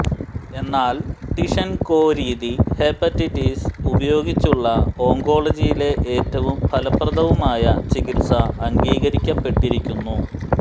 എന്നാൽ ടിഷെൻകോ രീതി ഹെപ്പറ്റൈറ്റിസ് ഉപയോഗിച്ചുള്ള ഓങ്കോളജിയിലെ ഏറ്റവും ഫലപ്രദവുമായ ചികിത്സ അംഗീകരിക്കപ്പെട്ടിരിക്കുന്നു